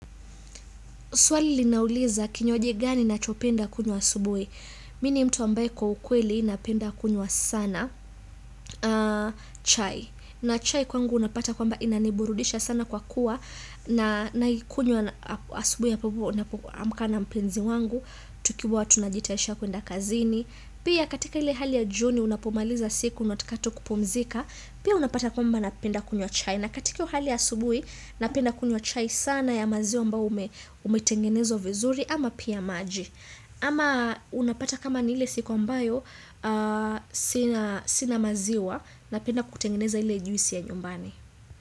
Swali linauliza kinywaji gani ninachopenda kunywa asubuhi. Mi ni mtu ambaye kwa ukweli napenda kunywa sana chai. Na chai kwangu unapata kwamba inaniburudisha sana kwa kuwa na naikunywa asubuhi ambapo napoamka na mpenzi wangu. Tukiwa tunajitayarisha kuenda kazini. Pia katika ile hali ya jioni unapomaliza siku unataka tu kupumzika. Pia unapata kwamba napenda kunywa chai. Na katika hiyo hali ya asubui, napenda kunywa chai sana ya maziwa ambao umetengenezwa vizuri ama pia maji. Ama unapata kama ni ile siku ambayo, sina sina maziwa napenda kutengeneza ile juisi ya nyumbani.